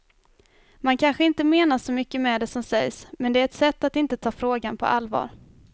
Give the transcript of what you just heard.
Man kanske inte menar så mycket med det som sägs, men det är ett sätt att inte ta frågan på allvar.